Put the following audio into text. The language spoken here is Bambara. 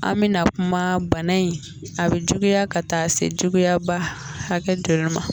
An me na kuma bana in, a bɛ juguya ka taa se juguya ba hakɛ joli ma.